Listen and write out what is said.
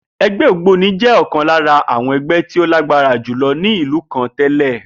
E̩gbé̩ ògbóni jé̩ ò̩kan lára àwo̩n e̩gbé̩ tí ó lágbára jùlo̩ ní ìlú kan té̩lè̩